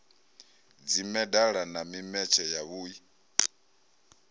dzimedala na mimetshe ya vhui